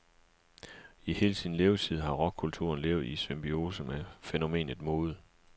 I hele sin levetid har rockkulturen levet i symbiose med fænomenet mode.